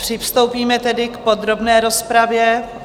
Přistoupíme tedy k podrobné rozpravě.